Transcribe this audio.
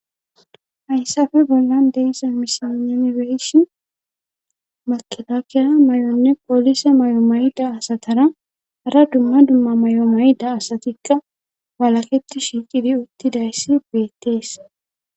Hayssafe bollan deessa misiamibeeshi makilakiyaa may7onne poolise may7o mayda asatara hara dumma dumma may7o mayda asatikka walaketi shiiqidi uttidayssi beettees